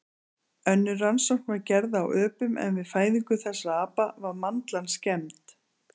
Önnur rannsókn var gerð á öpum en við fæðingu þessara apa var mandlan skemmd.